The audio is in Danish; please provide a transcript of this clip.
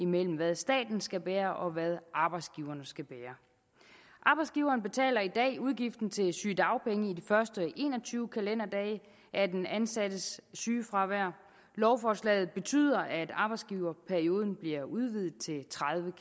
mellem hvad staten skal bære og hvad arbejdsgiverne skal bære arbejdsgiveren betaler i dag udgiften til sygedagpenge i de første en og tyve kalenderdage af den ansattes sygefravær lovforslaget betyder at arbejdsgiverperioden bliver udvidet til tredive